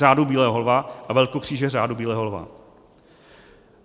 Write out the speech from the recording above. Řádu bílého lva a Velkokříže Řádu bílého lva.